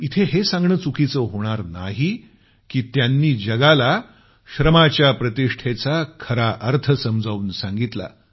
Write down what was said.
इथं हे सांगणं चुकीचं होणार नाही की त्यांनी जगाला श्रमाच्या प्रतिष्ठेचा खरा अर्थ समजावून सांगितला